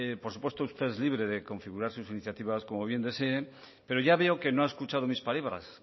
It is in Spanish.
por supuesto usted es libre de configurar sus iniciativas como bien desee pero ya veo que no ha escuchado mis palabras